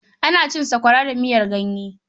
Ana cin sakwara da miyar ganye.